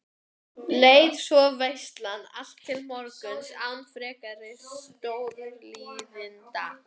Leið svo veislan allt til morguns án frekari stórtíðinda.